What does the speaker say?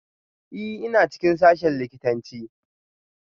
Ee, ina cikin sashen likitanci